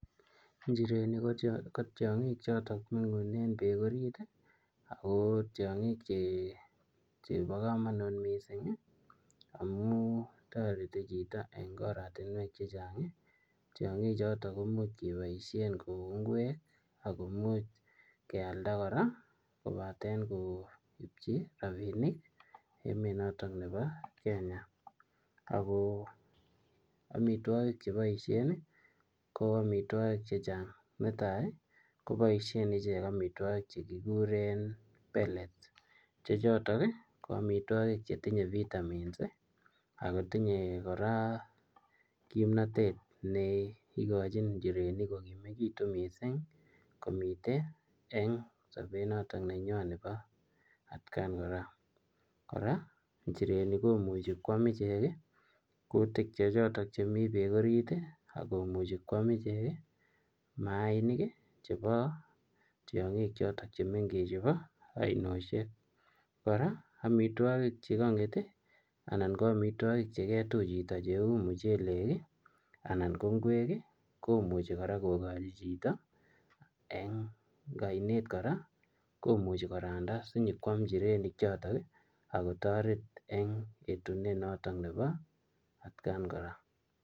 Njirenik ko tiangiik chemengunee peek orit ako imuchii kepaisheen koeek ngweek anan kealda kenyor chepkondok anan keam koek ngweeek ako amitwagiik chepaisheen njireniik ko chekikuree pellets anan koam kutik chotok mii peeek orit kora amitwagiik cheketuch chitoo kouu muchelek komuchii kekachiii njirenik chutok